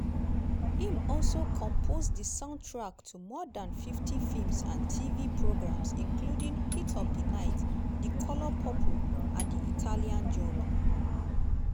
im also compose di soundtrack to more dan 50 films and tv programmes including heat of di night di color purple and di italian job.